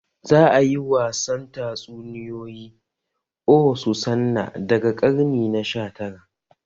Zai yi wasan tatsuniyoyi "oh Susanna" daga karni na sha tara